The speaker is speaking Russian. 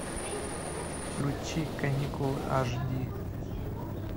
включи каникулы аш ди